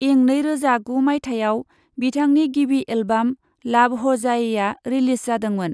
इं नैरोजा गु माइथायाव, बिथांनि गिबि एल्बाम लाभ हो जाएआ, रिलिज जादोंमोन।